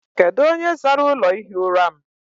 Kedụ onye zara ụlọ ihi ụra m?